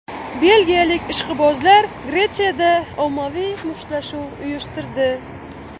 Belgiyalik ishqibozlar Gretsiyada ommaviy mushtlashuv uyushtirdi.